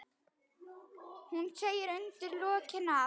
Hann segir undir lokin að